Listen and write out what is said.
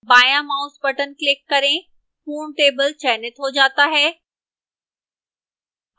बायां mouse button click करें पूर्ण टेबल चयनित हो जाता है